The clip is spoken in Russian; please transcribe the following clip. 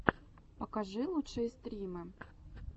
покажи лучшие стримы